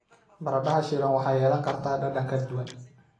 Baradhada shiilan waxay yeelan kartaa dhadhan ka duwan.